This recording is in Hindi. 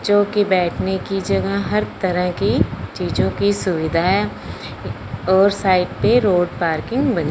जोकी बैठने की जगह हर तरह की चीजो की सुविधा है और साइड पे रोड पार्किंग बनी--